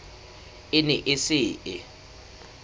e ne e se e